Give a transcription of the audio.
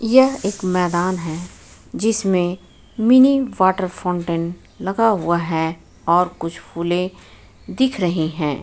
यह एक मैदान है जिसमें मिनी वॉटर फाउंटेन लगा हुआ है और कुछ फूले दिख रहे हैं।